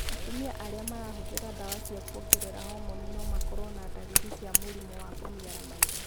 Atumia arĩa marahũthĩra ndawa cia kũongerera hormoni no makorũo na ndariri cia mũrimũ wa kũniara maitho.